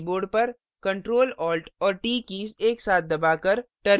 कृपया अपने कीबोर्ड पर ctrl alt और t कीज एक साथ दबाकर